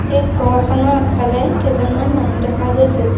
এই ঘৰখনৰ আগফালে কেইজনমান মানুহ দেখা গৈছে।